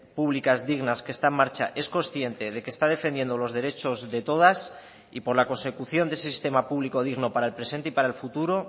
públicas dignas que está en marcha es consciente de que está defendiendo los derechos de todas y por la consecución de ese sistema público digno para el presente y para el futuro